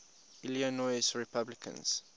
illinois republicans